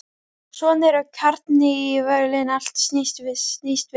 Svona eru karnivölin, allt snýst við.